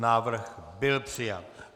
Návrh byl přijat.